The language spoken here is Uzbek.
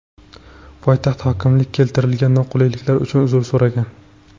Poytaxt hokimligi keltirilgan noqulayliklar uchun uzr so‘ragan.